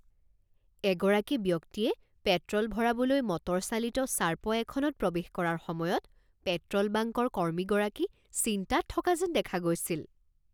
এগৰাকী ব্যক্তিয়ে পেট্ৰ'ল ভৰাবলৈ মটৰচালিত চাৰ্পয় এখনত প্ৰৱেশ কৰাৰ সময়ত পেট্ৰ'ল বাংকৰ কৰ্মীগৰাকী চিন্তাত থকা যেন দেখা গৈছিল।